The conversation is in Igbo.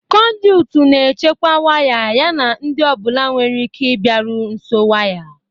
Conduit na-echekwa waya yana ndị ọ bụla nwere ike ịbịaru nso waya